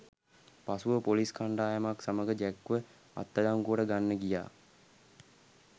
පසුව පොලිස් කණ්ඩායමක් සමග ජැක්ව අත්අඩංගුවට ගන්න ගියා